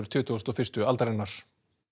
tuttugustu og fyrstu aldarinnar